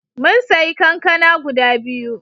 Mun sayi kankana guda biyu.